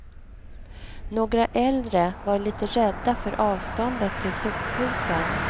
Några äldre var lite rädda för avståndet till sophusen.